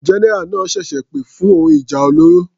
General náà ṣẹ̀ṣẹ̀ pè fún ohun ìjà olóró.